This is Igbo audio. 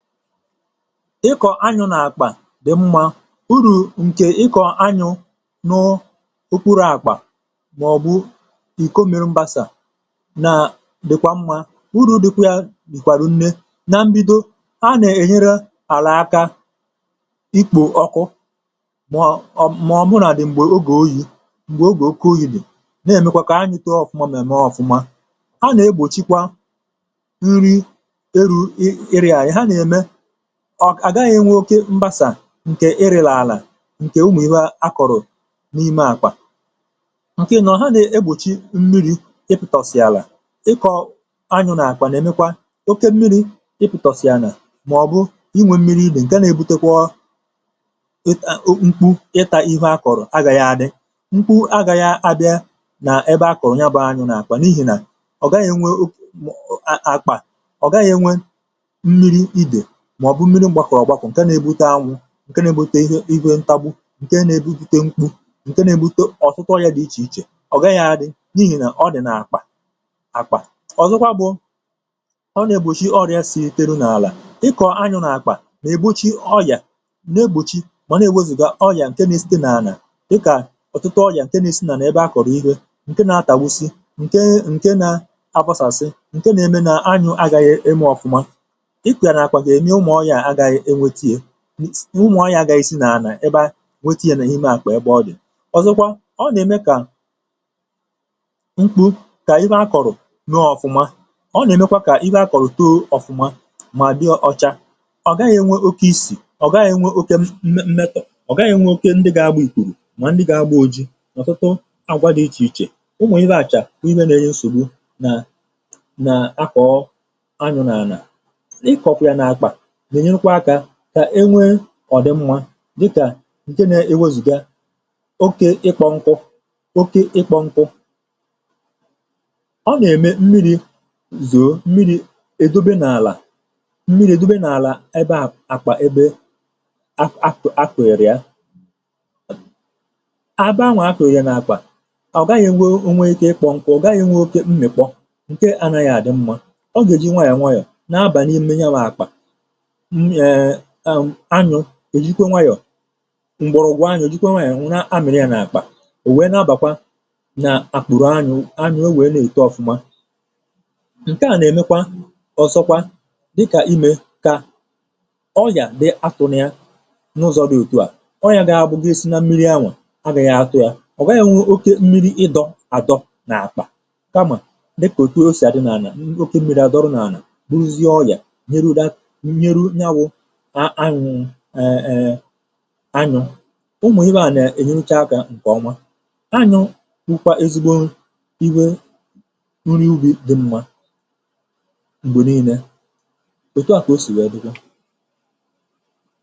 Ịkọ̀ anyụ̇ nà-àkpà dị̀ mmȧ, urù ǹkè ịkọ̀ anyụ̇ nụ̇ okpuru̇ àkpà màọ̀bụ̀ ìko mere mbàsà nà dị̀kwà mmȧ. urù dịkwà yà dị̀kwàrụ̀ nne, na mbido a nà-ènyere àlà aka ikpò ọkụ, màọ màọ̀bụ nà dị̀ m̀gbè ogè oyi̇ m̀gbè ogè oke oyi̇dị̀ nà-èmekwa kà anyụ̇ kee ọ̀fụma mèmèmè ọ̀fụma. a nà-egbòchikwa nrị erụ ịrị arị, ọ̀ àgaghị̇ ìnwe oke mgbasà ǹkè ịrị̇là àlà ǹkè umù ihu akọ̀rọ̀ n’ime àkwà. ǹkè ịnọ ha na-egbòchi mmiri̇ ịpụ̇tọ̀sị̀ àlà. ịkọ̀ anyụ n’àkwà n’èmekwa oke mmiri̇ ịpụ̀tọ̀sị̀ anà, màọ̀bụ̀ inwė mmiri nii nà ǹga nà-ebutekwa ịka nkpu ịtȧ ihu akọ̀rọ̀ agȧghị̇ adị, nkwu agȧghị̇ abịa nà ebe a kọ̀rọ̀ nya bụ anyụ̇ n’àkwà, n’ihi nà ọ̀ gaghị̇ ìnwe òk.. à.. àkpà ọ̀ gaghị̇ nwe ǹke nà-egbute anwụ̇ ǹke nà-egbute ihe iwė ntagbu, ǹke nà-egbute mkpu, ǹke nà-egbute ọ̀tụtụ ọrị̇ȧ dị̀ ichè ichè, ọ̀ gaghị̇ adị̇ n’ihì nà ọ dị̀ nà-akpà akpà. ọ̀zọkwa bụ̇ ọ nà-ègbòchi ọrị̇ȧ sì tere n’àlà, ịkọ̀ anyụ̇ nà-akpà nà-ègbùchi ọyà n’egbùchi mà nà-ègbòchi gà ọyà ǹke nà-esite nà-anà dịkà ọ̀tụtụ ọyà ǹke nà-esinà n’ebe akọ̀rọ̀ ihė, ǹke nà-atàwu̇si̇, ǹke ǹke nà-abọsàsị, ǹke nà-eme nà anyụ̇ agaghị̇ eme ọ̀fụma, ịkọ ya na akpa ga ème ụmụ̀ọ̀ ya a gaghị enwėtinye, ụmụ̀ọ̀ ya agaghị si n’ana ebe a nwetinye n’ime àkpà ebe ọdị. ọ̀zọkwa ọ nème kà mkpụ kà iwe a kọ̀rọ̀ mee ọ̀fụma ọ nèmekwa kà iwe a kọ̀rọ̀ too ọ̀fụma mà di ọcha, ọ̀ gaghị̇ nwe oke isì, ọ̀ gaghị̇ nwe oke mmetọ̀, ọ̀ gaghị̇ nwe oke ndị ga-agbȧ ìkùrù, mà ndị ga-agbȧ oji ọ̀tụtụ agwa dị ichè ichè, ụmụ̀ iwe àchà ọ̀ iwe neshògbu nà na akọ̀ọ anyụ̇ n’ana. Ịkọ kwa ya na akpa gà-ènyekwa akȧ kà enwee ọ̀dị mmȧ dịkà ǹke nȧ-ėwozùga oke ịkpọ̇ nkụ, oke ịkpọ̇ nkụ. ọ nà-ème mmiri̇ zòo mmiri̇ èdobe n’àlà mmiri̇ èdobe n’àlà ebea àkpà ebe ak, ak, akụ̀, akụ̀, èrìa àbe anwà akụ̀ èrìa nà-akwà, ọ̀ gaghị̇ enwe onwe ike ịkpọ̇ nkụ̇, ọ̀ gaghị̇ nwė oke mmị̀ kpọ ǹke ànaghị̀ àdị mmȧ, ọ gà-èji nwa yà nwa yà na abà n’ihe mmewe ya bụ̀ àkpà, anyụ̀ ejikwa nwayọ̀ mgbọrọ̀gwụ̀ anyụ̀, ejikwa nwayọ̀, nwụna amịrị yà n’akpà ò wee na-abàkwa nà àkpụ̀rụ̀ anyụ̇ anyụ̇ o wee n’èto ọfụma. nke à nà-èmekwa, ọ̀zọkwa dịkà imė kà ọyà dị atụ̇ nà ya n’ụzọ̇ dị òtu à, ọyà gà-abụ̇gị sị na mmiri anwà a gà ya atụ yà ọ̀ weghì nwe oke mmiri ịdọ̇ àdọ n’akpà kamà dịkà o si à dị n’anà n’akpà oke mmiri à dọrọ̇ n’anà, bụrụzia ọya nyerụ that nyerụ ya bụ eeeè anyụ̇, ụmụ̀ iwe a nà-èhirịcha akȧ ǹkè ọnwa. anyụ̇ nwukwa ezigbo iwe nri ubì dị̇ mmȧ m̀gbè niilė, èto à kà o sì nwèe dịga.